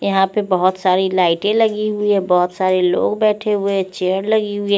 यहा पे बोहोत सारी लाइटे लगी हुई है बोहोत सारे लोग बेठे हुए है चेयर लगी वी है।